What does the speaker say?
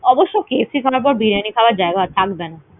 অবশ্য KFC খাবার পর biryani খাবার জায়গা থাকবে না।